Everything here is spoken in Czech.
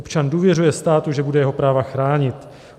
Občan důvěřuje státu, že bude jeho práva chránit.